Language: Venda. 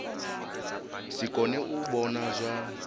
si kone u vhona zwa